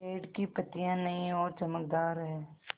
पेड़ की पतियां नई और चमकदार हैँ